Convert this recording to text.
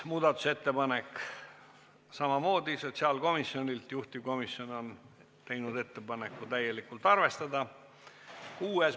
Muudatusettepanek nr 5 on samamoodi sotsiaalkomisjonilt, juhtivkomisjon on teinud ettepaneku seda täielikult arvestada.